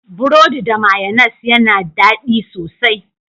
Burodi da mayonnas ya na daɗi sosai.